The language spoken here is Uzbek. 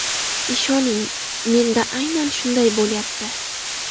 Ishoning, (menda) aynan shunday bo‘lyapti.